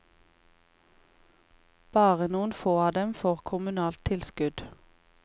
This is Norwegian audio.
Bare noen få av dem får kommunalt tilskudd.